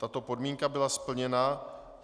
Tato podmínka byla splněna.